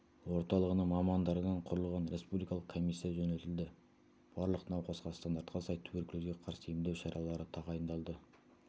орталығының мамандарынан құрылған республикалық комиссия жөнелтілді барлық науқасқа стандартқа сай туберкулезге қарсы емдеу шаралары тағайындалды